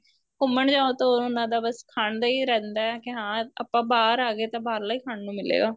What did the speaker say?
ਘੁੰਮਣ ਜਾਉ ਤਾਂ ਉਹਨਾ ਦਾ ਬੱਸ ਖਾਣ ਦਾ ਈ ਰਹਿੰਦਾ ਕੇ ਹਾਂ ਆਪਾਂ ਬਾਹਰ ਆ ਗਏ ਤਾਂ ਬਾਹਰਲਾ ਈ ਖਾਣ ਨੂੰ ਮਿਲੇਗਾ